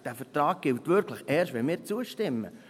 Dieser Vertrag gilt wirklich erst, wenn wir zustimmen.